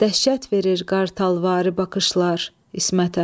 Dəhşət verir qartalvari baxışlar İsmətə.